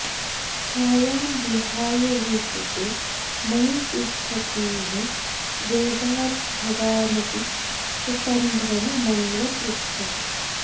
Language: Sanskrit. छायां विहाय विवृते मयि तिष्ठतीह वेगाद् भवानपि ससम्भ्रममन्वपृच्छत्